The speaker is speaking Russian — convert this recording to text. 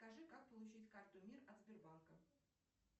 скажи как получить карту мир от сбербанка